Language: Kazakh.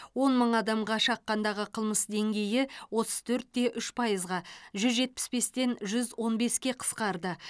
он мың адамға шаққандағы қылмыс деңгейі отыз төрт те үш пайызға жүз жетпіс бестен жүз он беске қысқарды